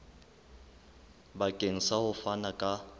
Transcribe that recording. bakeng sa ho fana ka